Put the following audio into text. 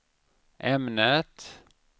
ämnet